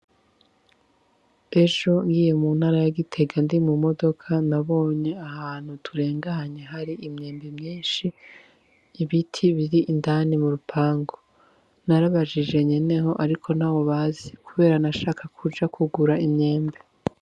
Ejo ngiye mu ntara ya gitega ndi mu modoka nabonye ahantu turenganye hari imyembe myinshi ibiti biri indani mu rupangu narabajije nyeneho ariko ntawe bazi kubera nashaka kuja kugura imyembe.